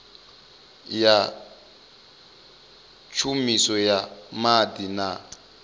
ya tshumiso ya maḓi na